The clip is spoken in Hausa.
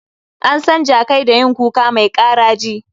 An san jakai da yin kuka mai ƙaraji